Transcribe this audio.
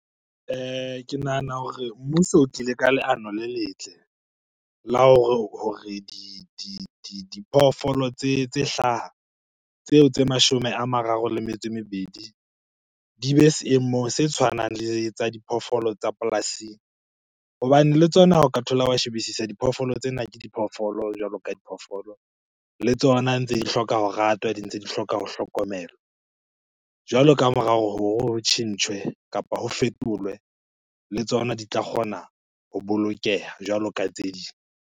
Ke nahana hore mmuso o tlile ka leano le letle la hore diphoofolo tse hlaha, tseo tse mashome a mararo le metso e mebedi di be seemong se tshwanang le tsa diphoofolo tsa polasing. Hobane le tsona ha o ka thola wa shebisisa diphoofolo tsena ke diphoofolo jwalo ka diphoofolo. Le tsona ntse di hloka ho ratwa, di ntse di hloka ho hlokomelwa. Jwalo kamora hore ho tjhentjhwe kapa ho fetolwe, le tsona di tla kgona ho bolokeha jwaloka tse ding.